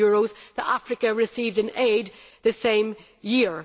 billion that Africa received in aid the same year.